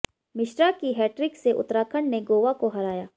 मिश्रा की हैट्रिक से उत्तराखंड ने गोवा को हराया